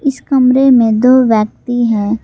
इस कमरे में दो व्यक्ति हैं।